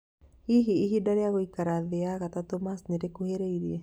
Hihi rĩ ihinda rĩa gũikara thĩ ya gatatũ Mars nĩrĩkuhĩrĩirie.